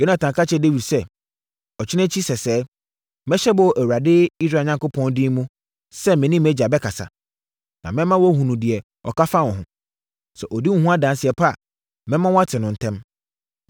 Yonatan ka kyerɛɛ Dawid sɛ, “Ɔkyena akyi sɛsɛɛ, mɛhyɛ bɔ wɔ Awurade Israel Onyankopɔn din mu sɛ me ne mʼagya bɛkasa, na mɛma woahunu deɛ ɔka fa wo ho. Sɛ ɔdi wo ho adanseɛ pa a, mɛma woate no ntɛm.